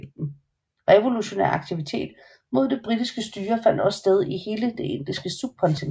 Revolutionær aktivitet mod det britiske styre fandt også sted i hele det indiske subkontinent